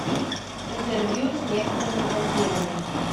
интервью с некоторыми вампирами